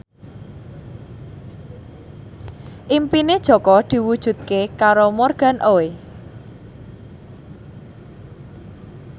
impine Jaka diwujudke karo Morgan Oey